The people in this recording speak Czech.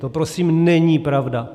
To prosím není pravda.